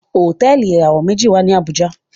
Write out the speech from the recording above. Hotẹẹli ìràwọ meji wá ní Abuja.